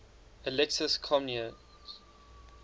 alexius comnenus